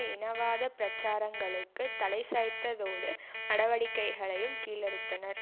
இனவாத பிரச்சாரங்களுக்கு தலை சாய்த்ததோடு நடவடிக்கைகளையும் கீழறுத்தனர்